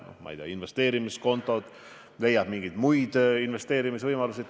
On ju olemas investeerimiskontod ja võib leida ka mingeid muid investeerimisvõimalusi.